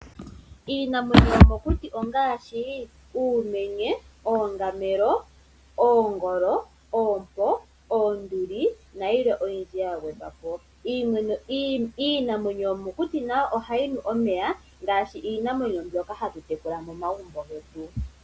Iinamwenyo yo mokuti ongaashi uumenye, oongamelo, oongolo, oompo, oonduli nayilwe oyindji ya gwedhwa po. Iinamwenyo yo mokuti nayo ohayi nu omeya ngaashi Iinamwenyo mbyoka hatu tekula momagumbo getu.